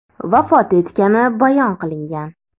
vafot etgani bayon qilingan.